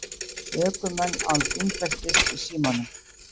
Ökumenn án bílbeltis í símanum